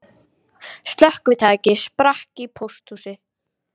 Slökkvitæki sprakk í pósthúsi